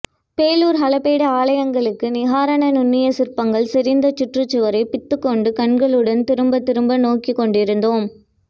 பேலூர் ஹளபேடு ஆலயங்களுக்கு நிகரான நுண்ணிய சிற்பங்கள் செறிந்த சுற்றுச்சுவரை பித்துகொண்ட கண்களுடன் திரும்பத்திரும்ப நோக்கிக்கொண்டிருந்தோம்